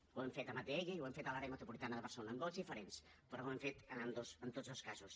ho hem fet amb atll i ho hem fet a l’àrea metropolitana de barcelona amb vots diferents però ho hem fet en tots dos casos